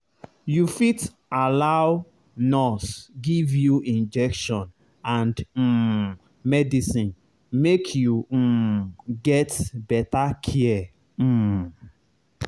you fit allow nurse give you injection and um medicine make you um get better care um